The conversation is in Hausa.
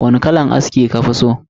Wani kalan aski kafi so?